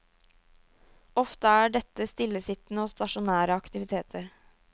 Ofte er dette stillesittende og stasjonære aktiviteter.